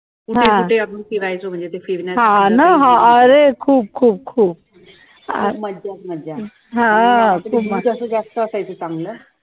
कुठे कुठे आम्ही फिरायचो म्हणजे ते फिरण्याचं म्हणजे, मज्जाच मज्जा जास्त असायचा चांगल